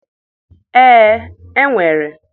Ee, e nwere.